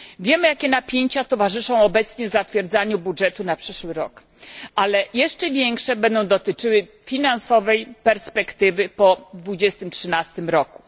Wiemy, jakie napięcia towarzyszą obecnie zatwierdzaniu budżetu na przyszły rok, ale jeszcze większe będą dotyczyły finansowej perspektywy po 2013 roku.